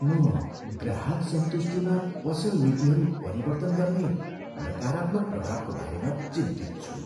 म ग्राहक सन्तुष्टिमा पसल नीतिहरू परिवर्तन गर्ने नकारात्मक प्रभावको बारेमा चिन्तित छु।